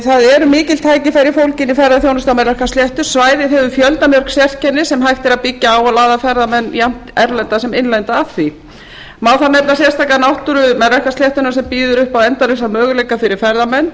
það eru mikil tækifæri fólgin í ferðaþjónustu á melrakkasléttu svæðið hefur fjöldamörg sérkenni sem hægt er að byggja á og laða ferðamenn jafnt erlenda sem innlenda að því má þar nefna sérstaka náttúru melrakkasléttunnar sem býður upp á endalausa möguleika fyrir ferðamenn